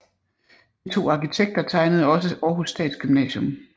De to arkitekter tegnede også Århus Statsgymnasium